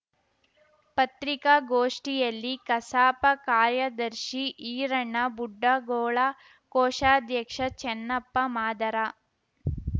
ಪತ್ರಿಕಾಗೋಷ್ಠಿಯಲ್ಲಿ ಕಸಾಪ ಕಾರ್ಯದರ್ಶಿ ಈರಣ್ಣ ಬುಡ್ಡಾಗೋಳ ಕೋಶಾಧ್ಯಕ್ಷ ಚನ್ನಪ್ಪ ಮಾದರ